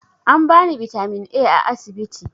An bani bitamin A a asibiti